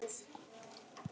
Fræddi mig og leiddi.